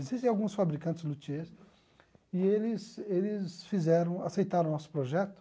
Existem alguns fabricantes luthiers e eles eles fizeram, aceitaram o nosso projeto.